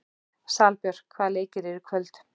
Salbjörg, hvaða leikir eru í kvöld?